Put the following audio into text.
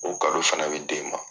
O kado fana bɛ d'e ma